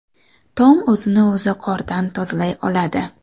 Tom o‘zini o‘zi qordan tozalay oladi.